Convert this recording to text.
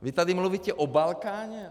Vy tady mluvíte o Balkáně.